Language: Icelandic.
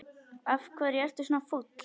Af hverju ertu svona fúll?